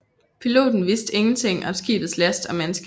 Piloten viste ingenting om skibets last og mandskab